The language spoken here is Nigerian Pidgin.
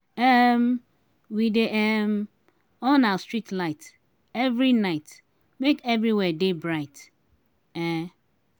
um we dey um on our street light every night make everywhere dey bright. um